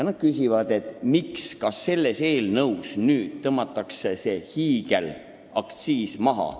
Nad küsivad, miks nii tehti ja kas ehk selles eelnõus tõmmatakse see hiigelaktsiis maha.